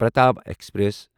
Pratap express